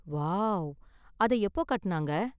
Wow, அத எப்போ கட்டுனாங்க?